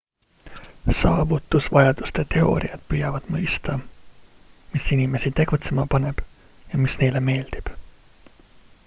saavutusvajaduste teooriad püüavad mõista mis inimesi tegutsema paneb ja mis neile meeldib